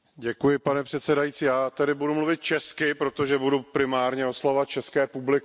Pane předsedající, já tady budu mluvit česky, protože budu primárně oslovovat české publikum.